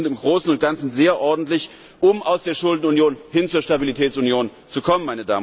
Die Ergebnisse sind im Großen und Ganzen sehr ordentlich, um aus der Schuldenunion hin zur Stabilitätsunion zu kommen.